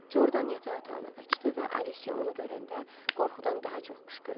Jordan yataq otağına qaçdı və Alisya onu görəndə qorxudan daha çox qışqırdı.